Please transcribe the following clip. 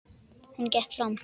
Hún gekk fram.